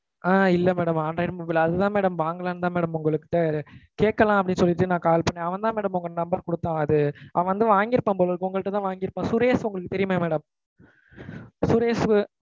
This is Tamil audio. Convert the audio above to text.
ஆஹ் இல்ல madam Android mobile. அது தான் madam வாங்கலாம்ன்னு தான் madam உங்ககிட்ட, கேக்கலாம் அப்படின்னு சொல்லிட்டு நான் call பண்ணேன். அவன் தான் madam உங்க number குடுத்தான் அது. அவன் வந்து வாங்கியிருப்பான் போல இருக்கு. உங்ககிட்ட தான் வாங்கிருப்பான். சுரேஷ் உங்களுக்கு தெரியுமே madam, சுரேஷு?